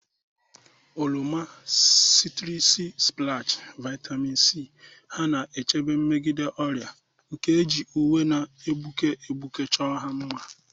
Oroma 'citrusy splash, vitamin C ha na-echebe megide ọrịa, nke e ji uwe na-egbuke egbuke chọọ ya mma.